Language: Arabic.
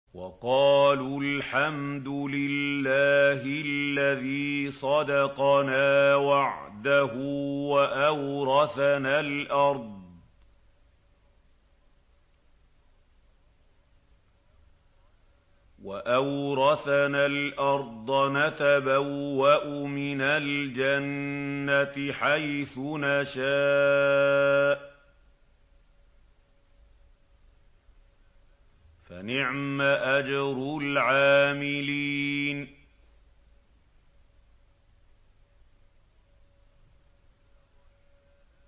وَقَالُوا الْحَمْدُ لِلَّهِ الَّذِي صَدَقَنَا وَعْدَهُ وَأَوْرَثَنَا الْأَرْضَ نَتَبَوَّأُ مِنَ الْجَنَّةِ حَيْثُ نَشَاءُ ۖ فَنِعْمَ أَجْرُ الْعَامِلِينَ